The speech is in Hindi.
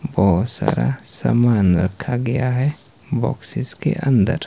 बहोत सारा समान रखा गया हैं बॉक्सेस के अंदर।